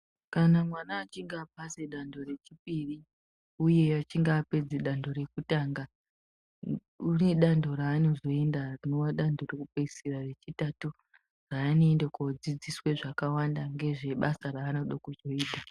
Kana mwana achinge apasa danho rechipiri uye achinge apedza danho rekutanga unedanho ranozoenda rinowa danho rekupeisira danho rechitatatu rinova danho rekupedzisira